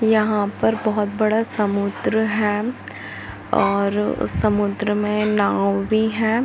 यहाँ पर बहुत बड़ा समुद्र है। और समुद्र मे नांव भी है।